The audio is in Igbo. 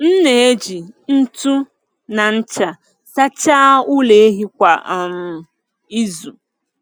M na-eji ntu na ncha sachaa ụlọ ehi kwa um izu.